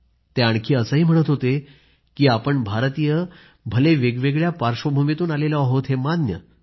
ते आणखी असंही म्हणत होते की आपण भारतीय भले वेगवेगळ्या पार्श्वभूमीतून आलेले आहोत हे मान्य